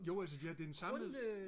grund øh